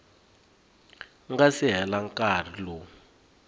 nga si hela nkarhi lowu